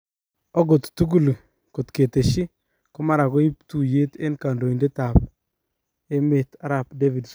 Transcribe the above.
Okot tugul kotketeshi ko mara koip tuyet en kandoitet ap emet arap Davidson